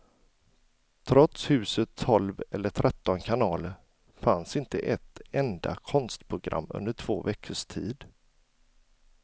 Trots husets tolv eller tretton kanaler fanns inte ett enda konstprogram under två veckors tid.